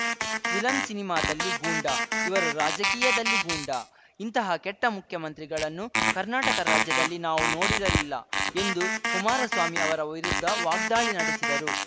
villain ಸಿನಿಮಾದಲ್ಲಿ ಗೂಂಡಾ ಇವರು ರಾಜಕೀಯದಲ್ಲಿ ಗೂಂಡಾ ಇಂತಹ ಕೆಟ್ಟಮುಖ್ಯಮಂತ್ರಿಗಳನ್ನು ಕರ್ನಾಟಕ ರಾಜ್ಯದಲ್ಲಿ ನಾವು ನೋಡಿರಲಿಲ್ಲ ಎಂದು ಕುಮಾರಸ್ವಾಮಿ ಅವರ ವಿರುದ್ಧ ವಾಗ್ದಾಳಿ ನಡೆಸಿದರು